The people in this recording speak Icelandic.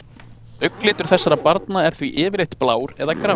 Augnlitur þessara barna er því yfirleitt blár eða grár.